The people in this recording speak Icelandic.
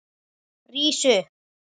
Rís upp.